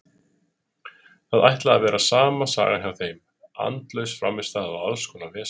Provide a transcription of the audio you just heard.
Þetta ætlaði að vera sama sagan hjá þeim, andlaus frammistaða og alls konar vesen.